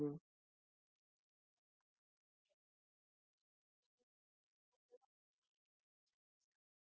तो तुमचा fridge repair करून घेईल आणि आजचा main मुद्दा आहे कि तुम्हाला repairing charges लागणार नाही sir